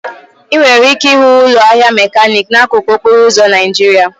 Ị nwere ike ịhụ ụlọ ahịa mekaniki n'akụkụ okporo ụzọ Naijiria.